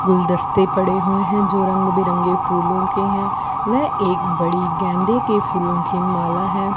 गुलदस्ते पड़े हुए हैं जो रंग बिरंगे फूलों के हैं व एक बड़ी गेंदें के फूलों की माला है।